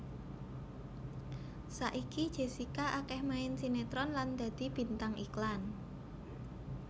Saiki Jessica akéh main sinetron lan dadi bintang iklan